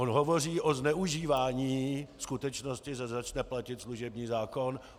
On hovoří o zneužívání skutečnosti, že začne platit služební zákon.